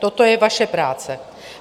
Toto je vaše práce.